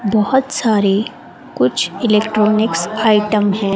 बहुत सारे कुछ इलेक्ट्रॉनिक्स आइटम हैं।